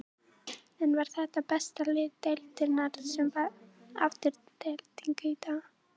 En var þetta besta lið deildarinnar sem vann Aftureldingu í dag?